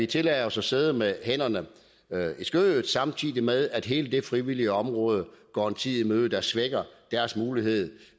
tillade os at sidde med hænderne i skødet samtidig med at hele det frivillige område går en tid i møde der svækker deres mulighed